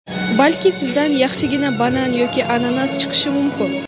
Balki sizdan yaxshigina banan yoki ananas chiqishi mumkin.